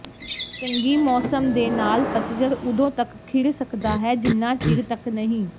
ਚੰਗੀ ਮੌਸਮ ਦੇ ਨਾਲ ਪਤਝੜ ਉਦੋਂ ਤੱਕ ਖਿੜ ਸਕਦਾ ਹੈ ਜਿੰਨਾ ਚਿਰ ਤੱਕ ਨਹੀਂ